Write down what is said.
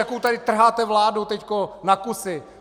Jakou tady trháte vládu teď na kusy?